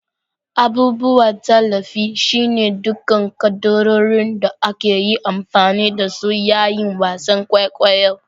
Abubuwan tallafi. shine dukkan kaddarorin da aka yi amfani da su yayin wasan kwaikwayo